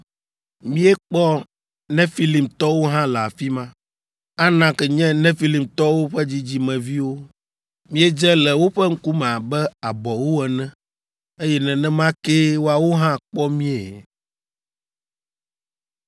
Míekpɔ Nefilimtɔwo hã le afi ma (Anak nye Nefilimtɔwo ƒe dzidzimeviwo). Míedze le woƒe ŋkume abe abɔwo ene, eye nenema kee woawo hã kpɔ míe.”